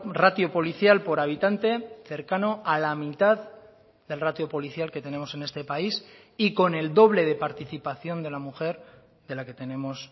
ratio policial por habitante cercano a la mitad del ratio policial que tenemos en este país y con el doble de participación de la mujer de la que tenemos